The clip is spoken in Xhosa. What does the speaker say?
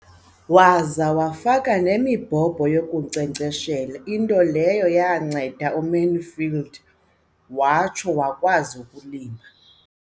Waza wafaka nemibhobho yokunkcenkceshela, into leyo yanceda uMansfield watsho wakwazi ukulima.